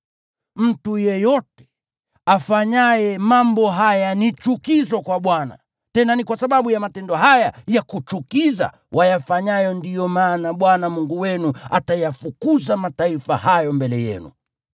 Mtu yeyote afanyaye mambo haya ni chukizo kwa Bwana , tena ni kwa sababu ya matendo haya ya kuchukiza wayafanyayo ndiyo maana Bwana Mungu wenu atayafukuza mataifa hayo mbele yenu.